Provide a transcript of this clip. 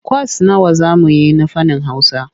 Kwas nawa za mu yi na fannin Hausa?